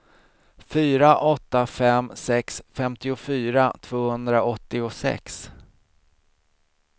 fyra åtta fem sex femtiofyra tvåhundraåttiosex